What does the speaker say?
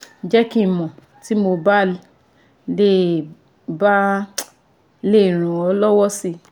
Jẹ́ kí n mọ̀ tí mo bá lè bá lè ràn ọ́ lọ́wọ́ si